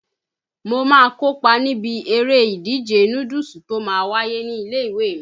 Mo má ń kó pa níbi eré ìdíje núdúùsù tó má ń wáyé ní ilé-ìwé mi.